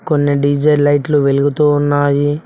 కొన్ని డీ_జే లైట్లు వెలుగుతూ ఉన్నాయి.